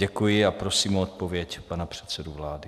Děkuji a prosím o odpověď pana předsedu vlády.